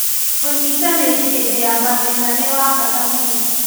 ũnyitanĩri hĩndĩ ya mathĩna nĩ wa bata mũno